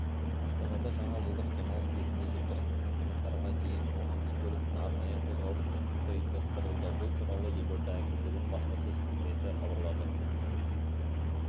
астанада жаңа жылдық демалыс кезінде желтоқсаннан қаңтарға дейін қоғамдық көліктің арнайы қозғалыс кестесі ұйымдастырылды бұл туралы елорда әкімдігінің баспасөз қызметі хабарлады